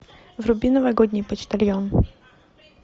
вруби новогодний почтальон